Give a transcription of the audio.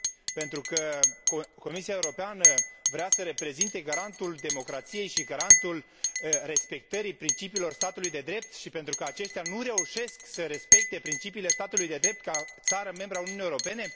Pentru că Comisia Europeană vrea să reprezinte garantul democrației și garantul respectării principiilor statului de drept și pentru că aceștia nu reușesc să respecte principiile statului de drept ca țară membră a Uniunii Europene?